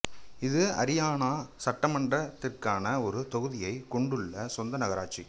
இது அரியானா சட்டமன்றத்திற்கான ஒரு தொகுதியைக் கொண்டுள்ள சொந்த நகராட்சி